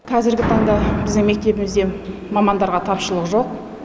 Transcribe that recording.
қазіргі таңда біздің мектебімізде мамандарға тапшылық жоқ